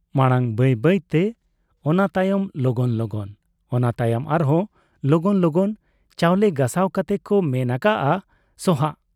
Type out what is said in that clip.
ᱢᱟᱬᱟᱝ ᱵᱟᱹᱭ ᱵᱟᱹᱭᱛᱮ , ᱚᱱᱟᱛᱟᱭᱚᱢ ᱞᱚᱜᱚᱱ ᱞᱚᱜᱚᱱ, ᱚᱱᱟ ᱛᱭᱚᱢ ᱟᱨᱦᱚᱸ ᱞᱚᱜᱚᱱ ᱞᱚᱜᱚᱱ ᱪᱟᱣᱞᱮ ᱜᱟᱥᱟᱣ ᱠᱟᱛᱮ ᱠᱚ ᱢᱮᱱ ᱟᱠᱟᱜ ᱟ ᱥᱚᱦᱟᱸᱜ ᱾